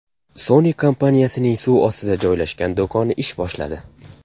Sony kompaniyasining suv ostida joylashgan do‘koni ish boshladi .